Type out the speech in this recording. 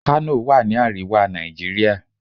Kano wà ni àríwá Nàìjíríà.